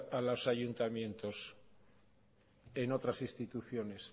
a los ayuntamientos en otras instituciones